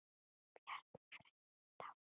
Bjarni frændi er dáinn, farinn.